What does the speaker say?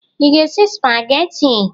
Ị ga-esi sụpagheti?